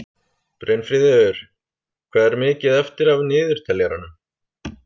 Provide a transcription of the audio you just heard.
Brynfríður, hvað er mikið eftir af niðurteljaranum?